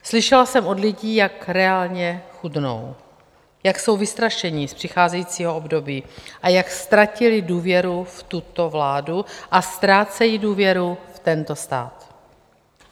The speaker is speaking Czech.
Slyšela jsem od lidí, jak reálně chudnou, jak jsou vystrašeni z přicházejícího období a jak ztratili důvěru v tuto vládu a ztrácejí důvěru v tento stát.